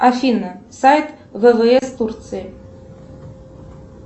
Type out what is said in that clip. афина сайт ввс турции